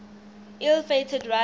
ill fated run